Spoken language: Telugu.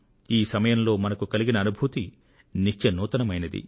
ఈ సమయంలో మనకు కలిగిన అనుభూతి నిత్య నవీనమైంది